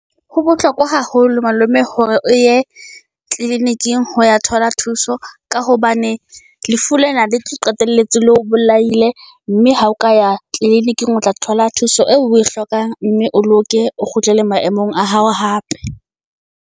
Ho bohlokwa haholo malome hore o ye clinic-ing ho ya thola thuso, ka hobane lefu lena le tlo qetelletse le o bolaile. Mme ha o ka ya clinic-ing o tla thola thuso eo oe hlokang. Mme o loke, o kgutlele maemong a hao hape.